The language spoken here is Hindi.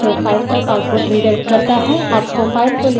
आपको file को लिखने का अधिकार होना चाहिए